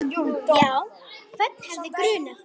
Já, hvern hefði grunað?